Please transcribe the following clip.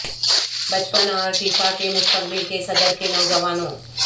بچپن اور فیفا کے مستقبل کے صدر کے نوجوانوں